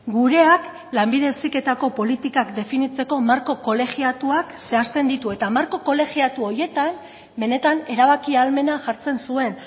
gureak lanbide heziketako politikak definitzeko marko kolegiatuak zehazten ditu eta marko kolegiatu horietan benetan erabaki ahalmena jartzen zuen